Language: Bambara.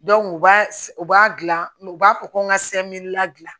u b'a u b'a dilan u b'a fɔ ko n ka ladilan